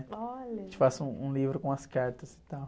Olha! gente faça um, um livro com as cartas e tal.